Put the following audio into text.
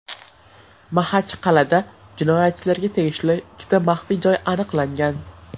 Maxachqal’ada jinoyatchilarga tegishli ikkita maxfiy joy aniqlangan.